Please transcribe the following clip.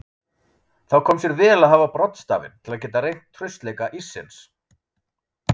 Þá kom sér vel að hafa broddstafinn til að geta reynt traustleika íssins.